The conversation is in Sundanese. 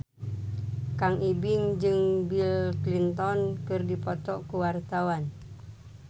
Kang Ibing jeung Bill Clinton keur dipoto ku wartawan